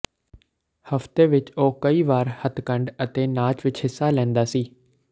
ਹਫਤੇ ਵਿਚ ਉਹ ਕਈ ਵਾਰ ਹੱਥਕੰਢ ਅਤੇ ਨਾਚ ਵਿਚ ਹਿੱਸਾ ਲੈਂਦਾ ਸੀ